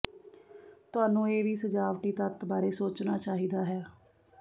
ਤੁਹਾਨੂੰ ਇਹ ਵੀ ਸਜਾਵਟੀ ਤੱਤ ਬਾਰੇ ਸੋਚਣਾ ਚਾਹੀਦਾ ਹੈ